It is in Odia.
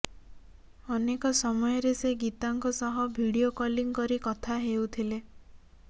ଅନେକ ସମୟରେ ସେ ଗୀତାଙ୍କ ସହ ଭିଡିଓ କଲିଂ କରି କଥା ହେଉଥିଲେ